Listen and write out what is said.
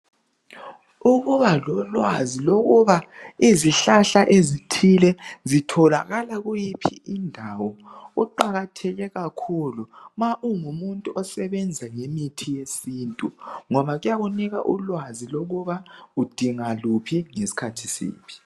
Ukubala lolwazi lokuba izihlahla ezithile zitholakala kuyiphi indawo kuqakatheke kakhulu ma ungumuntu osebenza ngemithi yesintu ngoba kuyakunika ulwazi lokuba udinga luphi ngesikhathi siphi